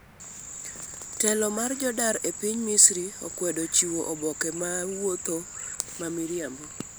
telo mar jodar e piny Misri okwedo chiwo oboke mar wuotho ​​ma miriambo